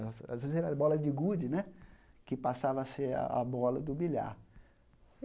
Às às vezes era a bola de gude né, que passava a ser a bola do bilhar.